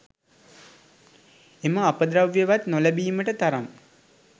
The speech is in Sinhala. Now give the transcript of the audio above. එම අපද්‍රව්‍යවත් නොලැබීමට තරම්